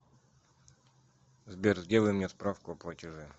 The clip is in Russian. сбер сделай мне справку о платеже